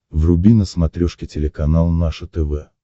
вруби на смотрешке телеканал наше тв